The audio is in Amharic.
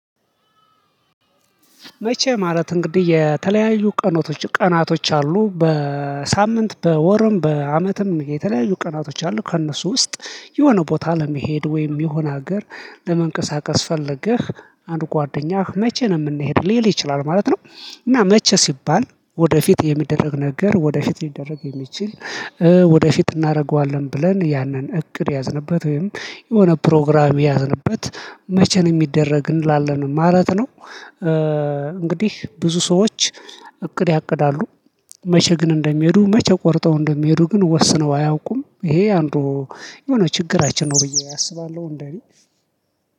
መቼ ማለት እንግዲህ የተለያዩ ቀኖቶች ቀናቶች አሉ በሳምንት በወርም በአመትም የተለያዩ ቀናቶች አሉ ከእነሱ ውስጥ የሆነ ቦታ ለመሄድ ወይም የሆነ ሀገር ለመንቀሳቀስ ፈለገህ አንድ ጓደኛህ መቼ ነው ምንሄድ ሊል ይችላል ማለት ነው። እና መቼ ሲባል ወደፊት የሚደረግ ነገር ወደፊት ሊደረግ የሚችል ወደፊት እናረገዋለን ብለን ያንን እቅድ የያዝንበት ወይም የሆነ ፕሮግራም የያዝንበት መቼ ነው ሚደረግ እንላለን ማለት ነው። እንግዲህ ብዙ ሰዎች እቅድ ያቅዳሉ። መቼ ግን እንደሚሄዱ መቼ ቆርጠው እንደሚሄዱ ግን ወስነው አያውቁም ይሄ አንዱ የሆነ ችግራችን ነው ብዬ አስባለሁ። እንደኔ